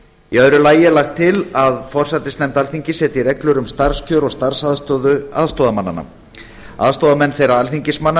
í öðru lagi er lagt til að forsætisnefnd alþingis setji reglur um starfskjör og starfsaðstöðu aðstoðarmannanna aðstoðarmenn þeirra alþingismanna